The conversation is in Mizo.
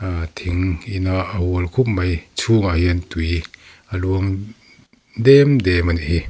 ah thing in a a hual khup mai chhungah hian tui a luang dêm dêm a nih hi.